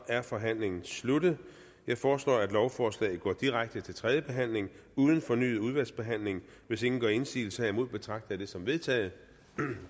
er forhandlingen sluttet jeg foreslår at lovforslaget går direkte til tredje behandling uden fornyet udvalgsbehandling hvis ingen gør indsigelse herimod betragter jeg det som vedtaget